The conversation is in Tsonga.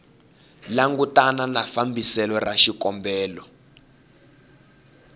langutana na fambiselo ra xikombelo